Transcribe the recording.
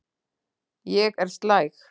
Ég er slæg.